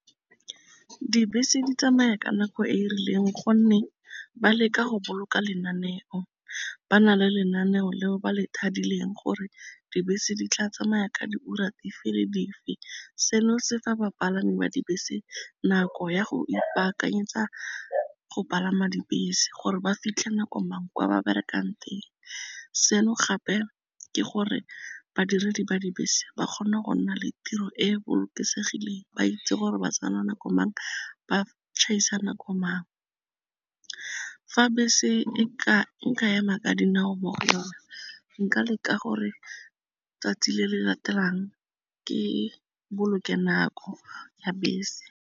Dibese di tsamaya ka nako e e rileng gonne ba leka go boloka lenaneo, ba na le lenaneo leo ba le thadileng gore dibese di tla tsamaya ka diura dife le dife. Seno se fa bapalami ba dibese nako ya go ipakanyetsa go palama dibese, gore ba fitlhe nako mang kwa ba berekang teng. Seno gape ke gore badiredi ba dibese ba kgone go nna le tiro e bolokesegileng ba itse gore ba tsena nako mang ba tšhaisa nako mang, fa bese nkema ka dinao mo go yona nka leka gore 'tsatsi le le latelang ke boloke nako ya bese.